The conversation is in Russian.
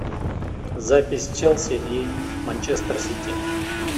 запись челси и манчестер сити